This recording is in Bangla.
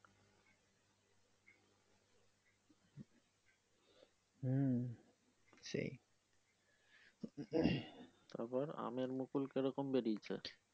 হম সেই তারপর আমের মুকুল কিরকম বেরিয়েছে?